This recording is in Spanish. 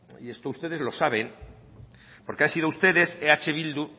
y esto ustedes lo saben porque han sido ustedes eh bildu